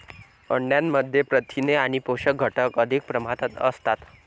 अंड्यामध्ये प्रथिने आणि पोषक घटक अधिक प्रमाणात असतात.